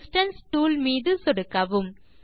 distance tool மீது சொடுக்கவும்